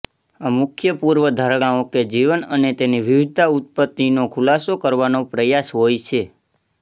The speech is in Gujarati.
આ મુખ્ય પૂર્વધારણાઓ કે જીવન અને તેની વિવિધતા ઉત્પતિનો ખુલાસો કરવાનો પ્રયાસ હોય છે